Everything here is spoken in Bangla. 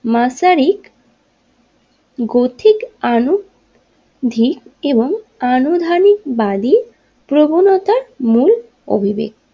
মাসারিক গতিকানুধিক এবং আনুধানিক বাড়ি প্রবণতার মূল অঙ্গীক।